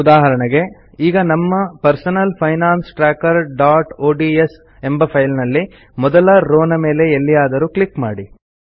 ಉದಾಹರಣೆಗೆ ಈಗ ನಮ್ಮ ಪರ್ಸನಲ್ ಫೈನಾನ್ಸ್ trackerಒಡಿಎಸ್ ಎಂಬ ಫೈಲ್ ನಲ್ಲಿ ಮೊದಲ ರೋವ್ ನ ಮೇಲೆ ಎಲ್ಲಿಯಾದರೂ ಕ್ಲಿಕ್ ಮಾಡಿ